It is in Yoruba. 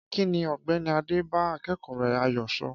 Kí ni Ọ̀gbẹ́ni Adé bá akẹ́kọ̀ọ́ rẹ̀ Ayo sọ?